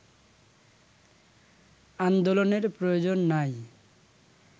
আন্দোলনের প্রয়োজন নাই